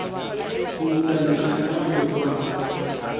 go bula letlha la lokwalo